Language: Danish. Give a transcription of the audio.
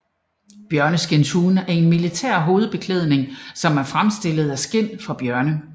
Bjørneskindshuen er en militær hovedbeklædning som er fremstillet af skind fra bjørne